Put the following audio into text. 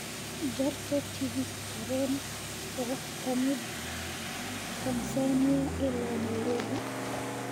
jarto tigidh tareen oo ka yimid Tansaaniya ilaa Nairobi